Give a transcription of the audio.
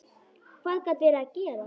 Hvað gat verið að gerast?